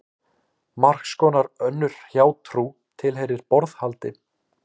Margs konar önnur hjátrú tilheyrir borðhaldi.